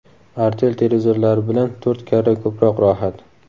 Artel televizorlari bilan to‘rt karra ko‘proq rohat.